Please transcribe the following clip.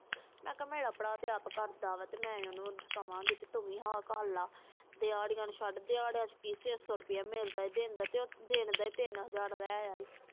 ਮੈਂ ਕਿਹਾ ਤੇ ਮੇਰਾ ਭਰਾ ਆਪ ਕਰਦਾ ਤੇ ਓਹਨੂੰ ਮੈਂ ਕਾਵਾਂ ਗਈ ਕਿ ਤੂੰ ਆ ਕਰਲਾ ਦਿਹਾੜਾ ਛੱਡ ਦਿਹਾੜਾ ਚ ਕਿ ਸ਼ੇ ਸੋ ਰੁਪਿਆ ਮਿਲਦਾ ਵਾ ਤੇ ਉੱਠ ਟੀਨ ਹਾਜ਼ਰ ਲੈ ਆਯਾ ਵਾ